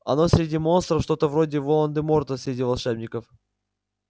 оно среди монстров что-то вроде волан-де-морта среди волшебников